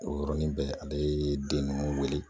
O yɔrɔnin bɛɛ ale den ninnu wele